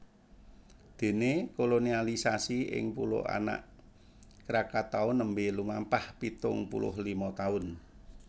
Dene kolonisasi ing Pulo Anak Krakatau nembe lumampah pitung puluh lima taun